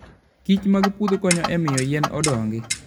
kichmag puodho konyo e miyo yien odongi.